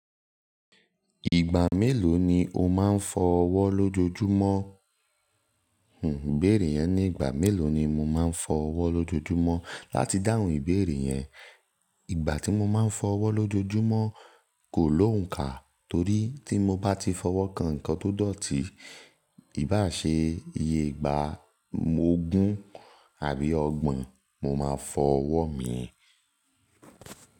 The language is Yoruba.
Ìgbà mélòó ni o máa ń fọ ọwọ́ lójoojúmọ́? Hhm, ìbéèrè yẹn "ní ìgbà mélòó ni mo máa ń fọ ọwọ́ lójoojúmọ́?" Láti dáhùn ìbéèrè yẹn, ìgbà tí mo máa ń fọ ọwọ́ lójoojúmọ́ kò ló òǹkà torí tí mo bá ti fọwọ́ kan nǹkan tó dọ̀tí, ìbá ṣe iye ìgbà ogún àbí ọgbon mo máa fọ ọwọ́ mi.